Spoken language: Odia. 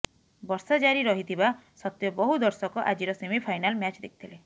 ବର୍ଷା ଜାରି ରହିଥିବା ସତ୍ତ୍ବେ ବହୁ ଦର୍ଶକ ଆଜିର ସେମି ଫାଇନାଲ ମ୍ୟାଚ ଦେଖିଥିଲେ